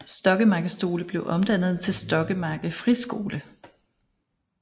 Stokkemarke Skole blev omdannet til Stokkemarke Friskole